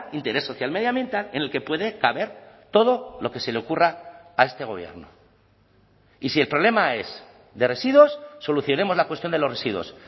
interés social medioambiental en el que puede caber todo lo que se le ocurra a este gobierno y si el problema es de residuos solucionemos la cuestión de los residuos